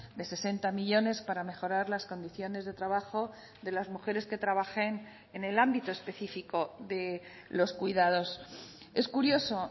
de sesenta millónes para mejorar las condiciones de trabajo de las mujeres que trabajen en el ámbito específico de los cuidados es curioso